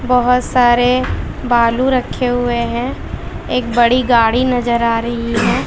बहोत सारे बालू रखे हुए हैं एक बड़ी गाड़ी नजर आ रही है।